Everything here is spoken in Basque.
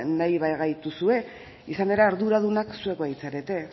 nahi bagaituzue izan ere arduradunak zuek baitzarete